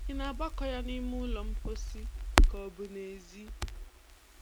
Ị na-agbakọ ya n'ime ụlọ mposi ka ọ bụ n'ezi?